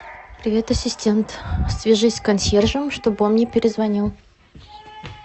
привет ассистент свяжись с консьержем чтобы он мне перезвонил